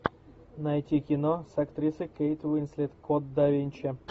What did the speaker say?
найти кино с актрисой кейт уинслет код да винчи